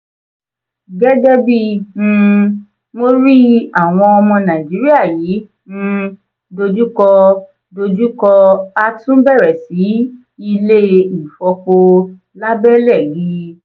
gẹ́gẹ́bí um mó rí i àwon ọmọ naijiria yí um ìdojúkọ dojú kọ a tún bẹ̀rẹ̀ sí ilé-ìfọpo lábẹ́lé gi